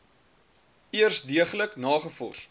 eers deeglik nagevors